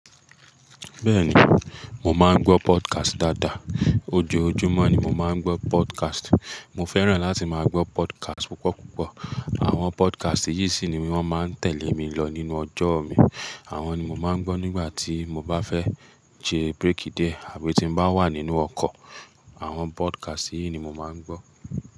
Bẹ́ẹ̀ni, mo máa ń gbọ́ podcast dáadáa. Ojoojúmọ́ ni mo máa ń gbọ́ podcast. Mo fẹ́ràn láti máa gbọ́ podcast púpọ̀púpọ̀. Àwọn podcast yìí sì ni wọ́n máa ń tẹ̀lé mi lọ nínú ọjọ́ mi. Àwọn ni mo máa ń gbọ́ nígbà tí mo bá fẹ́ jẹ break diẹ àbí tí n bá wà nínú ọkọ̀. Àwọn podcast yìí ni mo máa ń gbọ́